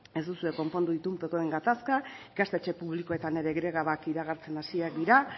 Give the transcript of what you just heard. ez duzue konpondu itunpekoen gatazka ikastetxe publikoetan ere grebak iragartzen hasiak dira